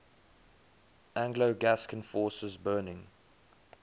anglo gascon forces burning